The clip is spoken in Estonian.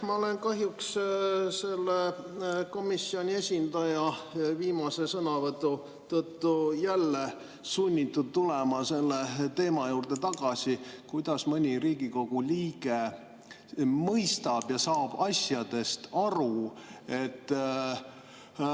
Ma olen kahjuks selle komisjoni esindaja viimase sõnavõtu tõttu jälle sunnitud tulema tagasi selle teema juurde, kuidas mõni Riigikogu liige asju mõistab ja nendest aru saab.